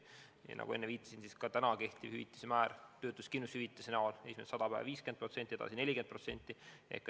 Nagu ma enne viitasin, kehtiv hüvitise määr töötuskindlustushüvitise näol on esimesed 100 päeva 50% palgast, sealt edasi 40%.